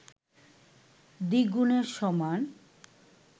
দ্বিগুণের সমান